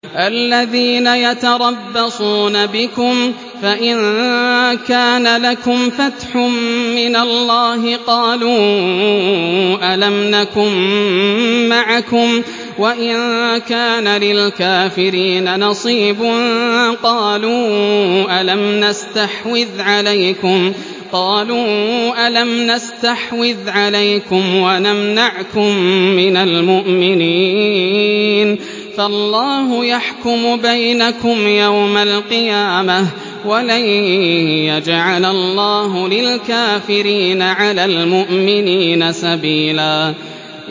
الَّذِينَ يَتَرَبَّصُونَ بِكُمْ فَإِن كَانَ لَكُمْ فَتْحٌ مِّنَ اللَّهِ قَالُوا أَلَمْ نَكُن مَّعَكُمْ وَإِن كَانَ لِلْكَافِرِينَ نَصِيبٌ قَالُوا أَلَمْ نَسْتَحْوِذْ عَلَيْكُمْ وَنَمْنَعْكُم مِّنَ الْمُؤْمِنِينَ ۚ فَاللَّهُ يَحْكُمُ بَيْنَكُمْ يَوْمَ الْقِيَامَةِ ۗ وَلَن يَجْعَلَ اللَّهُ لِلْكَافِرِينَ عَلَى الْمُؤْمِنِينَ سَبِيلًا